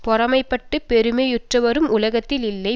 பொறாமைப்பட்டுப் பெருமையுற்றவரும் உலகத்தில் இல்லை